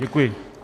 Děkuji.